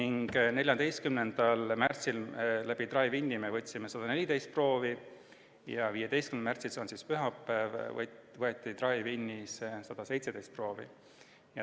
14. märtsil võtsime drive-in'is 114 proovi ja 15. märtsil, see oli pühapäev, võtsime 117 proovi.